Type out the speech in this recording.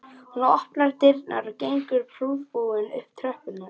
Hún opnar dyrnar og gengur prúðbúin upp tröppurnar